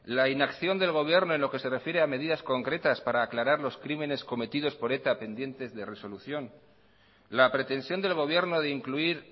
la inacción del gobierno en lo que se refiere a medidas concretas para aclarar los crímenes cometidos por eta pendientes de resolución la pretensión del gobierno de incluir